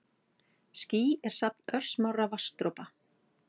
Ský er safn örsmárra vatnsdropa.